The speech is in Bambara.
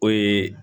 O ye